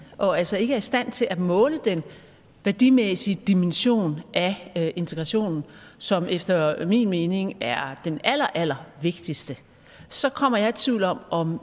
og altså ikke er i stand til at måle den værdimæssige dimension af integration som efter min mening er den allerallervigtigste så kommer jeg i tvivl om om